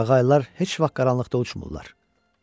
Qaqaylar heç vaxt qaranlıqda uçmurlar.